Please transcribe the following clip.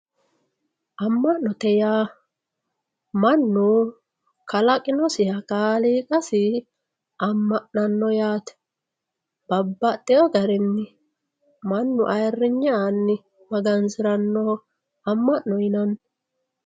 Ama`note yaa mannu kalaqinosiha kaaliqasi ama`nano yaate babaxewo garini mannu ayiriyne aani magansiranoho ama`no